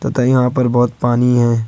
तय यहां पर बहोत पानी है।